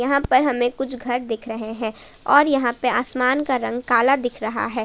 यहां पर हमें कुछ घर दिख रहे हैं और यहां पे आसमान का रंग काला दिख रहा है।